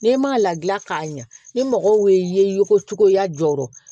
N'e ma ladilan k'a ɲɛ ni mɔgɔw ye ko cogoya jɔ